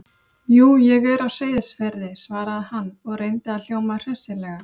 Jú, ég er á Seyðisfirði- svaraði hann og reyndi að hljóma hressilega.